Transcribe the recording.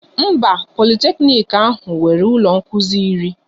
Mba, Politeknic ahụ nwere ụlọ nkụzi iri